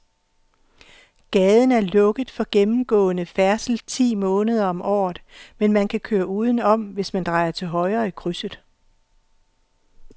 Gaden er lukket for gennemgående færdsel ti måneder om året, men man kan køre udenom, hvis man drejer til højre i krydset.